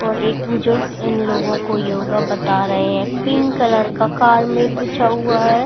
और एक में इन लोगो को योगा बता रहे हैं पिंक कलर का कार मैट बिछा हुआ है।